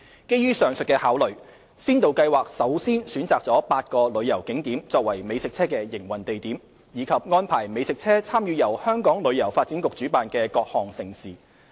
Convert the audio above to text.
基於上述考慮，先導計劃首先選擇了8個旅遊景點作為美食車的營運地點，以及安排美食車參與由香港旅遊發展局主辦的各項盛事。